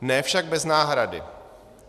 Ne však bez náhrady.